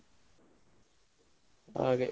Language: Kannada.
ಹಾಗೆ.